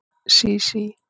Sísí